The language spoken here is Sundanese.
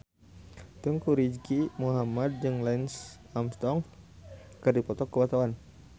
Teuku Rizky Muhammad jeung Lance Armstrong keur dipoto ku wartawan